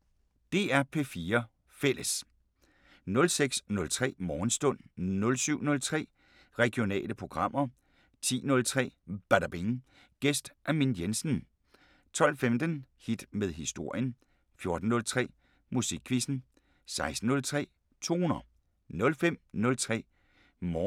DR P4 Fælles